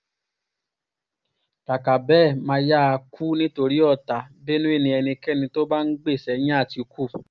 kàkà bẹ́ẹ̀ mà á yáa kú ni torí ọ̀tá benué ni ẹnikẹ́ni tó bá ń gbè sẹ́yìn àtìkú